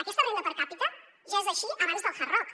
aquesta renda per capita ja era així abans del hard rock